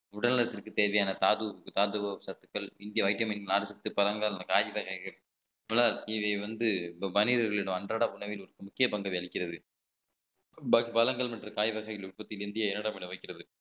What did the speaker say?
உடல் நலத்திற்கு தேவையான தாது~ தாது சத்துக்கள் இங்கே vitamin நார்ச்சத்து பழங்கள் காய் வகைகள் போல இது வந்து மனிதர்களிடம் அன்றாட உணவில் ஒரு முக்கிய பங்கை அளிக்கிறது வளங்கள் மற்றும் காய் வகைகள் உற்பத்தி இந்திய இரண்டாம் இடம் வைக்கிறது